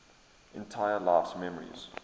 entire life's memories